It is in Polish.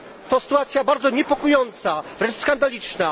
To sytuacja bardzo niepokojąca, wręcz skandaliczna.